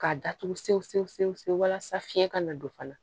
K'a datugu sen fe walasa fiɲɛ ka na don fana